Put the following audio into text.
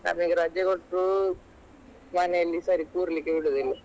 Speaker 1 ನಮಿಗೆ ರಜೆ ಕೊಟ್ಟ್ರು ಮನೇಲಿ ಸರಿ ಕೂರ್ಲಿಕ್ಕೆ ಬಿಡುದಿಲ್ಲ.